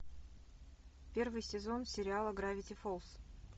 первый сезон сериала гравити фолз